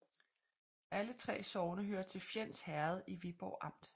Alle 3 sogne hørte til Fjends Herred i Viborg Amt